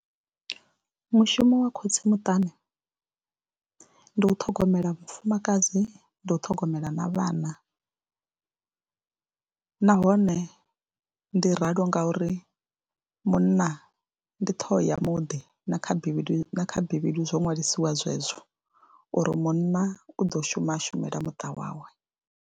Mushumo wa khotsi muṱani ndi u ṱhogomela vhafumakadzi, ndi u ṱhogomela na vhana nahone ndi ralo ngauri munna ndi ṱhoho ya muḓi na kha bivhili, kha bivhili zwo ṅwalisiwa zwezwo uri munna u ḓo shuma a shumela muṱa wawe.